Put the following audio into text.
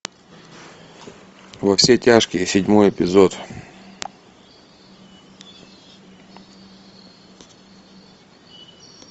во все тяжкие седьмой эпизод